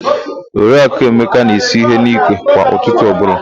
Oriaku Emeka na-esu ihe n'ikwe kwa ụtụtụ ọbụla.